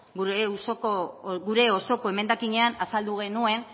gure osoko emendakinean azaldu genuen